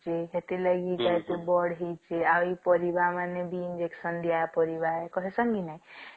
ସିଏ ସେଥିର ଲାଗି ଆଉ ପାରିବ ମାନେ ବି ହେଲା ବୋଲେ ତମେ ଶୁଣିଥିବ କି ଉଁ ମାନେ ଆ କଡିଲ କି injection ଦିଅ ହେଇଛି ଦିଆ ପାରିବାକହିଷଣ କି ନାଇଁ